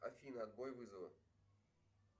афина отбой вызова